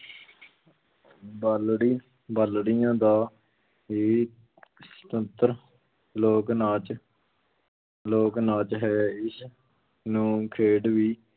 ਬਾਲੜੀ ਬਾਲੜੀਆਂ ਦਾ ਹੀ ਸੁਤੰਤਰ ਲੋਕ ਨਾਚ ਲੋਕ ਨਾਚ ਹੈ, ਇਸ ਨੂੰ ਖੇਡ ਵੀ